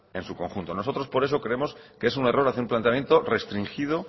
en su conjunto nosotros por eso creemos que es un error hacer un planteamiento restringido